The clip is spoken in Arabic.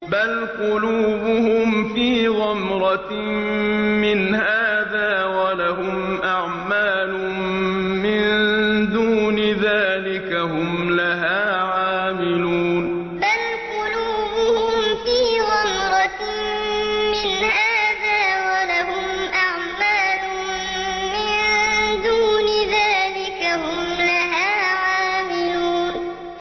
بَلْ قُلُوبُهُمْ فِي غَمْرَةٍ مِّنْ هَٰذَا وَلَهُمْ أَعْمَالٌ مِّن دُونِ ذَٰلِكَ هُمْ لَهَا عَامِلُونَ بَلْ قُلُوبُهُمْ فِي غَمْرَةٍ مِّنْ هَٰذَا وَلَهُمْ أَعْمَالٌ مِّن دُونِ ذَٰلِكَ هُمْ لَهَا عَامِلُونَ